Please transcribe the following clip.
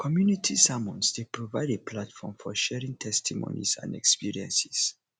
community sermons dey provide a platform for sharing testimonies and experiences